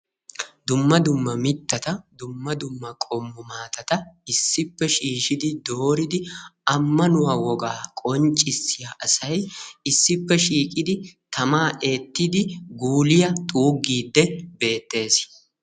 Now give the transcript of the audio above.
dumma dumma mittata dumma dumma qommo maatata issipee shiishshidi dooridi ammanuwaa wogaa qonccissiyaa asay issippe shiiqidi tamaa eettidi guuliyaa xuuggidi beettes.